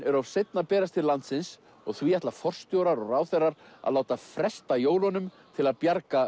er of seinn að berast til landsins og því ætla forstjórar og ráðherrar að láta fresta jólunum til að bjarga